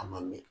A ma mɛn